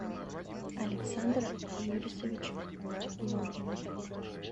александр юрисович логвинов